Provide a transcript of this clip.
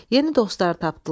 Yeni dostlar tapdılar.